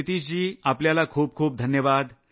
नितीश जी आपल्याला खूप खूप धन्यवाद